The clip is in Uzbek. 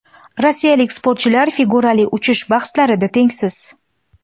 Rossiyalik sportchilar figurali uchish bahslarida tengsiz.